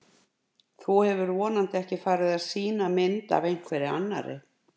Þú hefur vonandi ekki farið að sýna mynd af einhverri annarri!